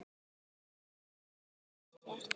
Maður var heima hjá sér.